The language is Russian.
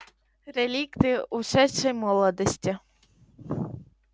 реликты ушедшей молодости